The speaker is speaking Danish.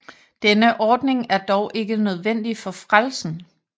Denne ordning er dog ikke nødvendig for frelsen